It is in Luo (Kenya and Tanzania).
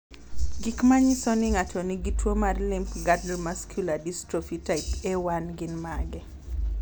Gik manyiso ni ng'ato nigi tuwo mar Limb girdle muscular dystrophy type 1A gin mage?